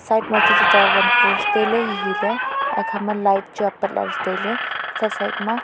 side ma chu tuta wan post taile hihi lea hekha ma light chu le taile chatle side ma.